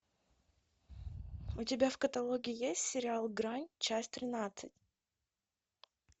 у тебя в каталоге есть сериал грань часть тринадцать